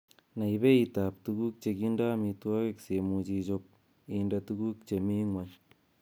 Nai beitab tuguk chekindo amitwogik simuch ichob inde tuguk chemi ngwony.